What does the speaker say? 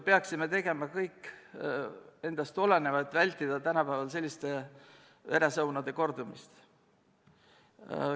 Peaksime tegema kõik endast oleneva, et vältida tänapäeval selliste veresaunade kordumist.